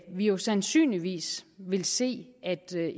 vi jo sandsynligvis vil se at